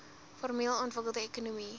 formeel ontwikkelde ekonomie